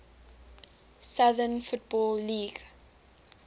southern football league